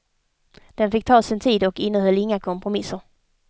Den fick ta sin tid och innehöll inga kompromisser.